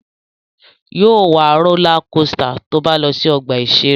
Yóò wa rólá kosità tó bá lọ sí ọgbà-ìṣeré